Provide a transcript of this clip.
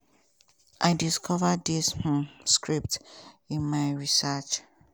i discover dis um scripts in my research.